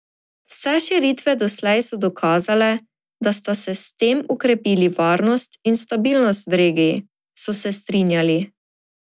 Vse širitve doslej so dokazale, da sta se s tem okrepili varnost in stabilnost v regiji, so se strinjali.